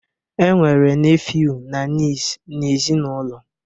E nwere nefiu na niis n'ezinaụlọ